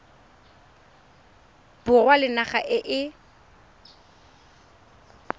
borwa le naga e e